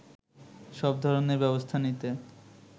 সব ধরনের ব্যবস্থা নিতে